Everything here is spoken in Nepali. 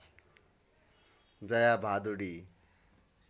जया भादुडी